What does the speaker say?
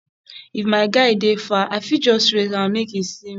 if my guy dey far i fit just raise hand make e see me